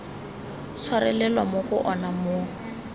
tshwarelelwa mo go ona mo